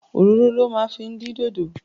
Òróró lo máa fi dín dodo.